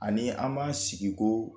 Ani an b'an sigi koo